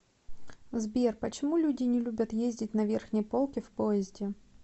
сбер почему люди не любят ездить на верхней полке в поезде